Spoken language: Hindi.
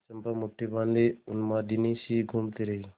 चंपा मुठ्ठी बाँधे उन्मादिनीसी घूमती रही